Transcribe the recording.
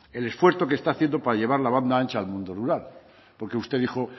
el esfuerzo que está haciendo para llevar la banda ancha al mundo rural porque usted dijo